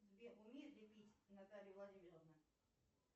сбер умеет ли пить наталья владимировна